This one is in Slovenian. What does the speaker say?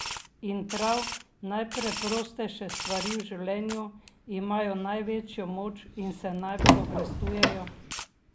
In prav najpreprostejše stvari v življenju imajo največjo moč in se najbolj obrestujejo!